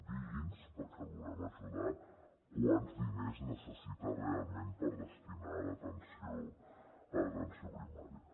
digui’ns perquè el volem ajudar quants diners necessita realment per destinar a l’atenció primària